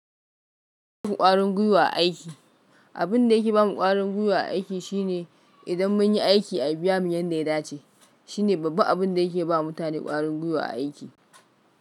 Ƙwarin gwiwa aiki. Abin da yake ba mu ƙwarin gwiwa a aiki shine idan mun yi aiki a biya mu yanda ya dace. Shine babban abin da yake ba mutane ƙwarin gwiwa a aiki.